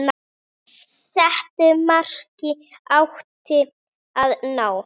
Settu marki átti að ná.